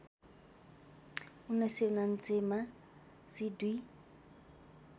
१९९९ मा सि २